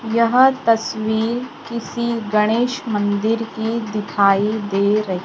यह तस्वीर किसी गणेश मंदिर की दिखाई दे र--